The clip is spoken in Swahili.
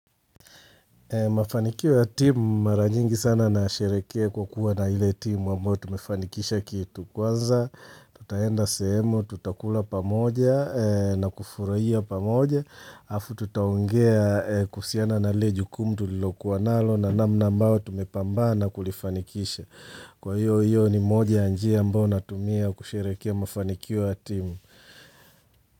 Mafanikio ya timu mara nyingi sana nasherehekea kwa kuwa na ile timu ambayo tumefanikisha kitu. Kwanza tutaenda sehemu, tutakula pamoja na kufurahia pamoja alafu tutaongea kuhusiana na lile jukumu tulilokuwa nalo na namna ambayo tumepambana kulifanikisha, kwa hivyo hiyo ni moja ya njia ambayo natumia kusherehekea mafanikio ya timu.